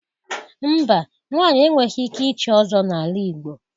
Mba, nwaanyị enweghi ike ịchị Ọzọ n'ala Igbo.